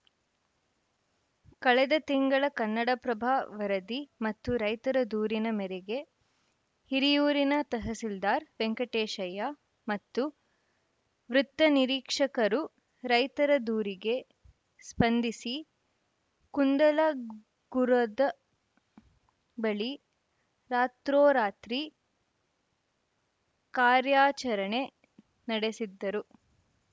ಕಳೆದ ತಿಂಗಳ ಕನ್ನಡಪ್ರಭ ವರದಿ ಮತ್ತು ರೈತರ ದೂರಿನ ಮೇರೆಗೆ ಹಿರಿಯೂರಿನ ತಹಸೀಲ್ದಾರ್‌ ವೆಂಕಟೇಶಯ್ಯ ಮತ್ತು ವೃತ್ತ ನಿರೀಕ್ಷಕರು ರೈತರ ದೂರಿಗೆ ಸ್ಪಂದಿಸಿ ಕುಂದಲಗುರದ ಬಳಿ ರಾತ್ರೋರಾತ್ರಿ ಕಾರ್ಯಾಚರಣೆ ನಡೆಸಿದ್ದರು